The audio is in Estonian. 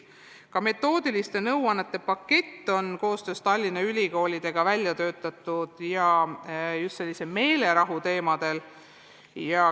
Ka metoodiliste nõuannete pakett on koostöös Tallinna ülikoolidega välja töötatud ja see käsitleb meelerahuga seotud teemasid.